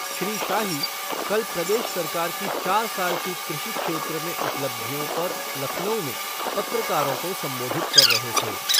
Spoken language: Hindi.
श्री शाही कल प्रदेश सरकार की चार साल की कृषि क्षेत्र में उपलब्धियों पर लखनऊ में पत्रकारों को संबोधित कर रहे थे।